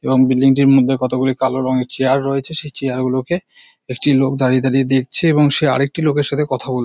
এবং বিল্ডিং টির মধ্যে কতগুলি কালো রঙের চেয়ার রয়েছে সেই চেয়ার গুলোকে একটি লোক দাঁড়িয়ে দাঁড়িয়ে দেখছে এবং সে আরেকটি লোকের সঙ্গে কথা বল--